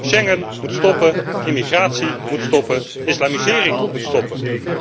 Schengen moet stoppen, immigratie moet stoppen, islamisering moet stoppen.